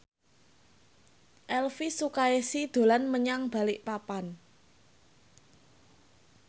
Elvy Sukaesih dolan menyang Balikpapan